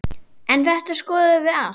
En þetta skoðum við allt.